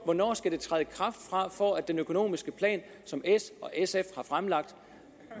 hvornår skal det træde i kraft for at den økonomiske plan som s og sf har fremlagt